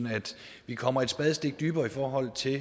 vi kommer et spadestik dybere i forhold til